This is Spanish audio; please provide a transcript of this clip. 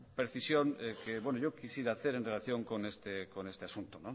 precisión que yo quisiera hacer en relación con este asunto